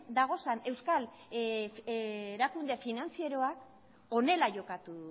dauden euskal erakunde finantzieroak honela jokatu